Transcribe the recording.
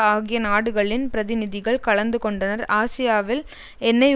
ஆகிய நாடுகளின் பிரதிநிதிகள் கலந்து கொண்டனர் ஆசியாவில் எண்ணெய்